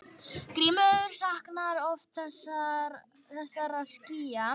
Grímur saknar oft þessara skýja.